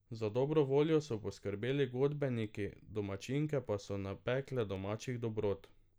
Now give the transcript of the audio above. Za dobro voljo so poskrbeli godbeniki, domačinke pa so napekle domačih dobrot.